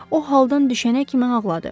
O haldan düşənə kimi ağladı.